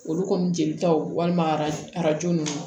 Olu kɔni jelitaw walima arajo arajo ninnu